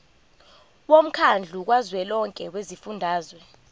womkhandlu kazwelonke wezifundazwe